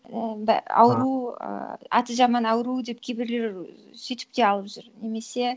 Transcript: ауру ыыы аты жаман ауру деп кейбірлер сөйтіп те алып жүр немесе